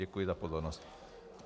Děkuji za pozornost.